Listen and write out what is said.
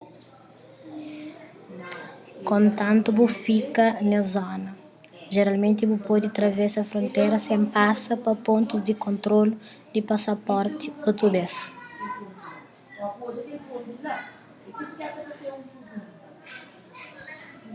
kontantu bu fika nes zona jeralmenti bu pode travesa frontera sen pasa pa pontus di kontrolu di pasaporti otu bês